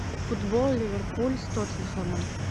футбол ливерпуль с тоттенхэмом